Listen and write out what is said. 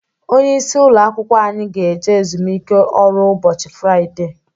Onye isi ụlọ akwụkwọ anyị ga eje ezumike ọrụ ụbọchị Fraịdee